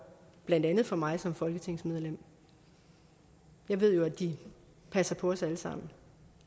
blandt andet for mig som folketingsmedlem jeg ved jo at de passer på os alle sammen